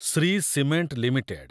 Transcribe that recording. Shri cement limited